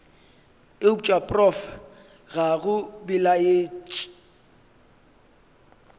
eupša prof ga go belaetše